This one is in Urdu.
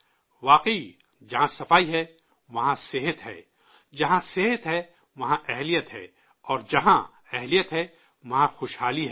واقعی، جہاں صفائی ہے، وہاں صحت ہے، جہاں صحت ہے، وہاں صلاحیت ہے اور جہاں صلاحیت ہے، وہاں خوشحالی ہے